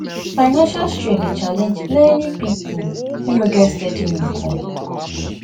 financial strain dey challenge many people wey no get steady income